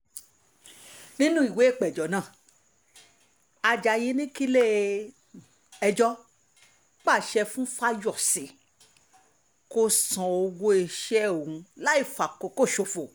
nínú ìwé ìpéjọ náà ajayi ní kí ilé-ẹjọ́ pàṣẹ fún fáyọsé kó san owó iṣẹ́ òun láì fi àkókò ṣòfò